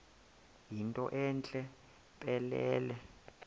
yinto entle mpelele